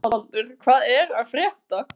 Sævaldur, hvað er að frétta?